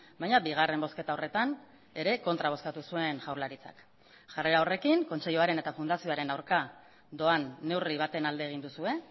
baina bigarren bozketa horretan ere kontra bozkatu zuen jaurlaritzak jarrera horrekin kontseiluaren eta fundazioaren aurka doan neurri baten alde egin duzue